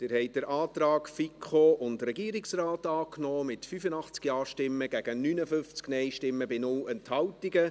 Sie haben den Antrag FiKo und Regierungsrat angenommen, mit 85 Ja- gegen 59 NeinStimmen, bei 0 Enthaltungen.